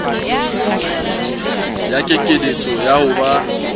ya kekeletso ya ho ba